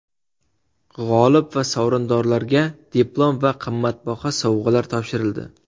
G‘olib va sovrindorlarga diplom va qimmatbaho sovg‘alar topshirildi.